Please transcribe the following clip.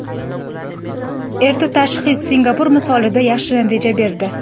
Erta tashxis Singapur misolida yaxshi natija berdi.